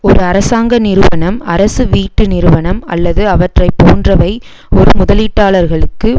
ஒரு அரசாங்க நிறுவனம் அரசு வீட்டு நிறுவனம் அல்லது அவற்றை போன்றவை ஒரு முதலீட்டாளர்களுக்கு